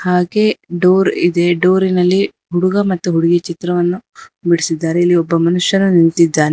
ಹಾಗೆ ಡೋರ್ ಇದೆ ಡೋರಿ ನಲ್ಲಿ ಹುಡುಗ ಮತ್ತು ಹುಡುಗಿ ಚಿತ್ರವನ್ನು ಬಿಡಿಸಿದ್ದಾರೆ ಇಲ್ಲಿ ಒಬ್ಬ ಮನುಷ್ಯನ ನಿಂತಿದ್ದಾನೆ.